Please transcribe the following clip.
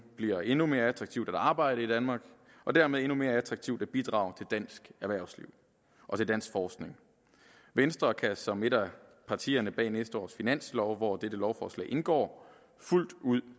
bliver endnu mere attraktivt at arbejde i danmark og dermed endnu mere attraktivt at bidrage til dansk erhvervsliv og til dansk forskning venstre kan som et af partierne bag næste års finanslov hvor dette lovforslag indgår fuldt ud